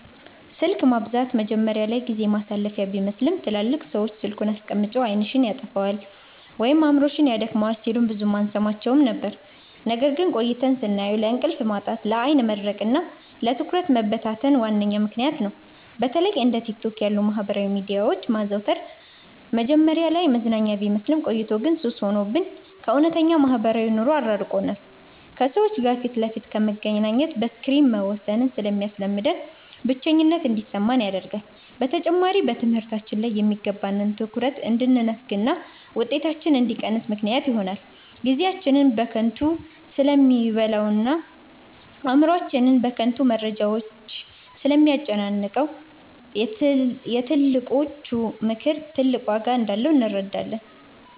ስልክ ማብዛት መጀመሪያ ላይ ጊዜ ማሳለፊያ ቢመስልም፣ ትላልቅ ሰዎች "ስልኩን አስቀምጪ፣ ዓይንሽን ያጠፋዋል ወይም አእምሮሽን ያደክመዋል" ሲሉን ብዙም አንሰማቸውም ነበር። ነገር ግን ቆይተን ስናየው ለእንቅልፍ ማጣት፣ ለዓይን መድረቅና ለትኩረት መበታተን ዋነኛ ምክንያት ነው። በተለይ እንደ ቲክቶክ ያሉ የማህበራዊ ሚዲያዎችን ማዘውተር መጀመሪያ ላይ መዝናኛ ቢመስልም፣ ቆይቶ ግን ሱስ ሆኖብን ከእውነተኛው ማህበራዊ ኑሮ አራርቆናል። ከሰዎች ጋር ፊት ለፊት ከመገናኘት በስክሪን መወሰንን ስለሚያስለምደን፣ ብቸኝነት እንዲሰማን ያደርጋል። በተጨማሪም በትምህርታችን ላይ የሚገባንን ትኩረት እንድንነፈግና ውጤታችን እንዲቀንስ ምክንያት ይሆናል። ጊዜያችንን በከንቱ ስለሚበላውና አእምሮአችንን በከንቱ መረጃዎች ስለሚያጨናንቀው፣ የትልቆቹ ምክር ትልቅ ዋጋ እንዳለው እንረዳለን።